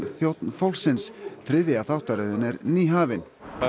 þjónn fólksins þriðja þáttaröðin er nýhafin